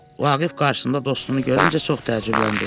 Vaqif qarşısında dostunu görüncə çox təəccübləndi.